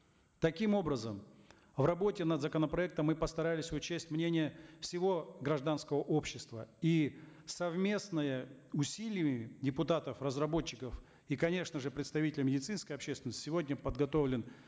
таким образом в работе над законопроектом мы постарались учесть мнение всего гражданского общества и совместными усилиями депутатов разработчиков и конечно же представителей медицинской общественности сегодня подготовлен